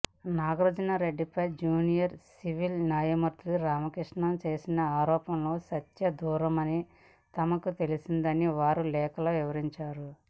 నాగార్జునరెడ్డిపై junior civil న్యాయమూర్తి రామకృష్ణ చేసిన ఆరోపణలు సత్యదూరమని తమకు తెలిసిందని వారు లేఖల్లో వివరించారు